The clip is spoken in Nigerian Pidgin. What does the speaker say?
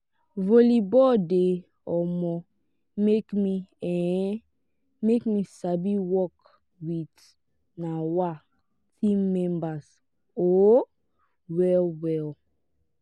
volleyball de um make de um make me sabi work with um team members um well well